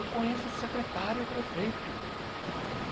Eu conheço o secretário e o prefeito.